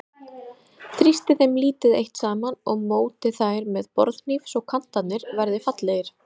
Þrýstið þeim lítið eitt saman og mótið þær með borðhníf svo kantarnir verði fallegir.